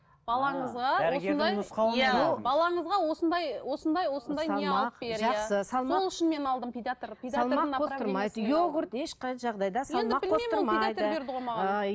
балаңызға балаңызға осындай осындай осындай не алып бер иә